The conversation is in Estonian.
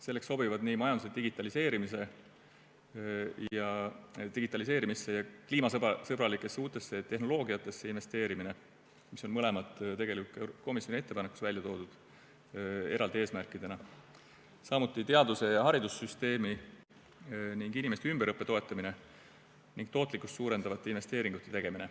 Selleks sobivad majanduse digitaliseerimisse ja kliimasõbralikesse uutesse tehnoloogiatesse investeerimine, mis on mõlemad tegelikult ka komisjoni ettepanekus välja toodud eraldi eesmärkidena, samuti teaduse ja haridussüsteemi ning inimeste ümberõppe toetamine ning tootlikkust suurendavate investeeringute tegemine.